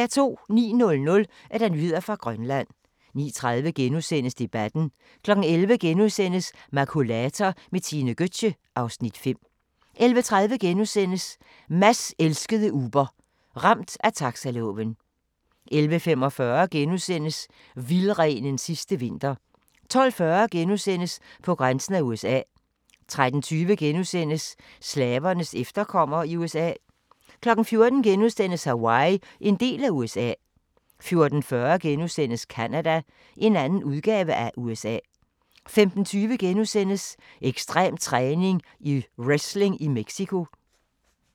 09:00: Nyheder fra Grønland 09:30: Debatten * 11:00: Makulator med Tine Gøtzsche (Afs. 5)* 11:30: Mads elskede Uber – Ramt af taxaloven * 11:45: Vildrenens sidste vinter * 12:40: På grænsen af USA * 13:20: Slavernes efterkommere i USA * 14:00: Hawaii – en del af USA * 14:40: Canada – en anden udgave af USA * 15:20: Ekstrem træning: Wrestling i Mexico *